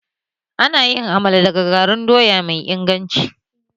Ana yin Amala daga garin doya mai inganci